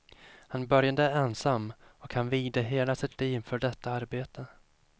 Han började ensam, och han vigde hela sitt liv för detta arbete.